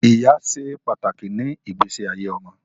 Ìyá ṣe pàtàkì ni igbese ayé ọmọ